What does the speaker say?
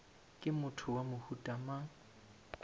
ke motho wa mohuta mang